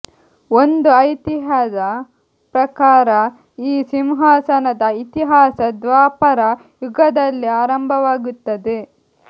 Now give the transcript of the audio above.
ಒಂದು ಐತಿಹ್ಯದ ಪ್ರಕಾರ ಈ ಸಿಂಹಾಸನದ ಇತಿಹಾಸ ದ್ವಾಪರ ಯುಗದಲ್ಲೇ ಆರಂಭವಾಗುತ್ತದೆ